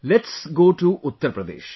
let us go to Uttar Pradesh